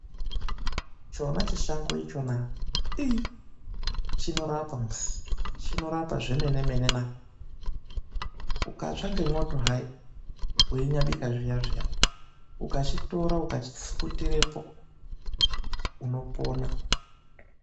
Chona chishango ichona ii chinorapa musi, chinorapa zvemenemene naa! Ukatsva ngemwoto hai weinyabika zviya zviya, ukachitora uchachipfukutirepo unopona.